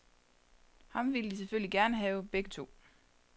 Ham ville de selvfølgelig gerne have begge to.